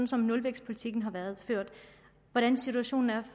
som nulvækstpolitikken har været ført og hvordan situationen er